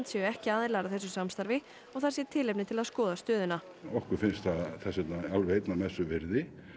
séu ekki aðilar að þessu samstarfi og það sé tilefni til að skoða stöðuna okkur finnst það þess vegna alveg einnar messu virði